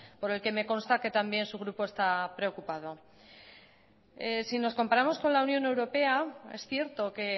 por el que me consta que también su grupo está preocupado si nos comparamos con la unión europea es cierto que